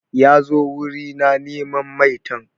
Ya zo wuri na neman maitan.